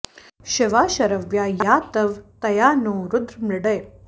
शिवा शरव्या या तव तया नो रुद्र मृडय